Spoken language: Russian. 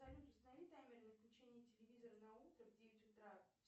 салют установи таймер на включение телевизора на утро в девять утра